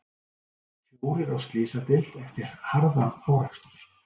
Fjórir á slysadeild eftir harðan árekstur